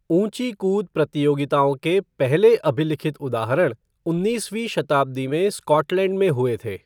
ऊंची कूद प्रतियोगिताओं के पहले अभिलिखित उदाहरण उन्नीसवीं शताब्दी में स्कॉटलैंड में हुए थे।